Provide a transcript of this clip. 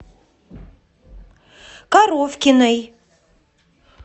коровкиной